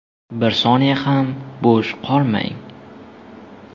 Bir soniyaga ham bo‘sh qolmang.